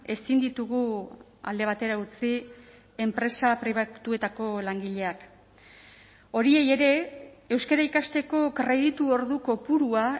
ezin ditugu alde batera utzi enpresa pribatuetako langileak horiei ere euskara ikasteko kreditu ordu kopurua